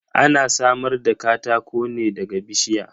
Ana samar da katako ne daga bishiya.